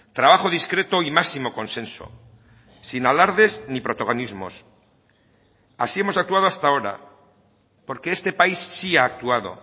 trabajo discreto y máximo consenso sin alardes ni protagonismos así hemos actuado hasta ahora porque este país sí ha actuado